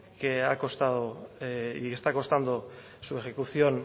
que ha costado y está costando su ejecución